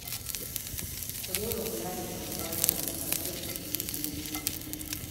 Ku dinga kula da 'yanuwa da abokan arziki da ke nesa